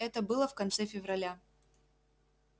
это было в конце февраля